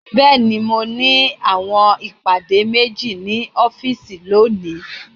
Bẹẹni, Mo ni awọn ipade meji ni ọfiisi loni